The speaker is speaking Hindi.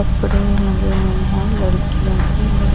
कपड़े लगे हुए हैं लड़कियों के लड़--